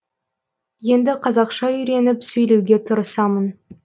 енді қазақша үйреніп сөйлеуге тырысамын